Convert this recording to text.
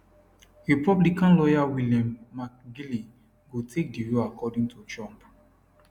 republican lawyer william mcginley go take di role according to trump